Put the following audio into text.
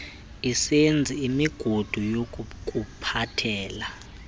isenza imigudu yokukuphathela